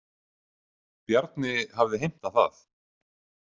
Bjarni hafði heimtað það.